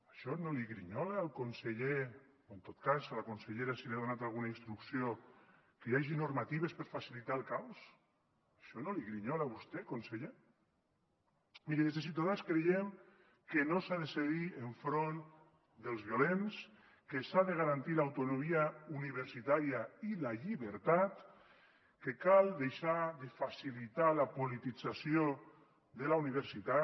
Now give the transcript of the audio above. això no li grinyola al conseller o en tot cas la consellera si li ha donat alguna instrucció que hi hagi normatives per a facilitar el caos això no li grinyola a vostè conseller miri des de ciutadans creiem que no s’ha de cedir enfront dels violents que s’ha de garantir l’autonomia universitària i la llibertat que cal deixar de facilitar la politització de la universitat